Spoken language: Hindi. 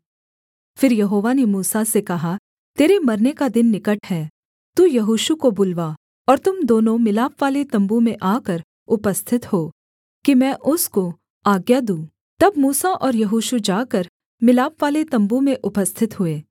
फिर यहोवा ने मूसा से कहा तेरे मरने का दिन निकट है तू यहोशू को बुलवा और तुम दोनों मिलापवाले तम्बू में आकर उपस्थित हो कि मैं उसको आज्ञा दूँ तब मूसा और यहोशू जाकर मिलापवाले तम्बू में उपस्थित हुए